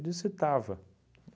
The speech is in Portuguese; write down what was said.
Eu disse estava.